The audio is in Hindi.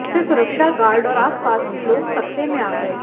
इससे सुरक्षा गार्ड और आसपास के लोग सकते में आ गए